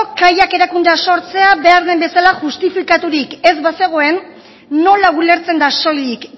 kaiak erakundea sortzen da behar den bezala justifikaturik ez bazegoen nola ulertzen da soilik